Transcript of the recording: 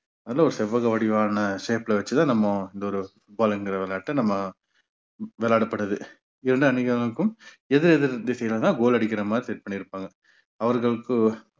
அது ஒரு செவ்வக வடிவான shape ல வச்சுதான் நம்மோ இந்த ஒரு football என்கிற விளையாட்டை நம்ம விளையாடப்படுது. ஏன்னா நீங்க எதிர் எதிர் திசையிலதான் goal அடிக்கிற மாதிரி set பண்ணி இருப்பாங்க அவர்களுக்கு